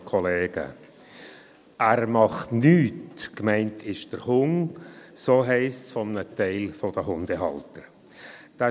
«Er macht nichts» – so heisst es von einem Teil der Hundehalter, und sie meinen den Hund.